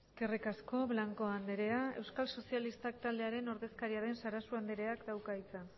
eskerrik asko blanco andrea euskal sozialistak taldearen ordezkaria den sarasua andreak dauka hitza